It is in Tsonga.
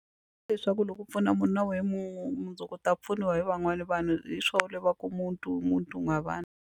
Hi leswaku loko u pfuna munhu na wehe mundzuku u ta pfuniwa hi van'wani vanhu hi swona le va ku umuntu umuntu ngabantu.